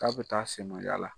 K'a bɛ taa la